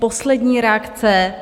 Poslední reakce.